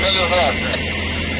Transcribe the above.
Mərkəzi kanalizasiya.